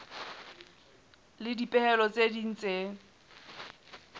le dipehelo tse ding tse